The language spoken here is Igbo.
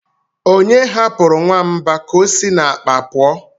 onye hapụrụ nwamba k'osi n'akpa pụọ?